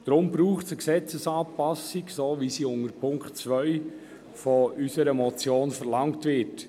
Darum braucht es eine Gesetzesanpassung so wie sie unter dem Punkt 2 unserer Motion verlangt wird.